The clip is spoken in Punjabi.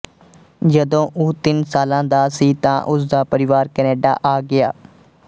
ਜਦੋਂ ਉਹ ਤਿੰਨ ਸਾਲਾਂ ਦਾ ਸੀ ਤਾਂ ਉਸਦਾ ਪਰਿਵਾਰ ਕੈਨੇਡਾ ਆ ਗਿਆ